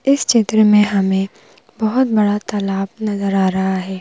इस चित्र में हमें बहुत बड़ा तालाब नजर आ रहा है।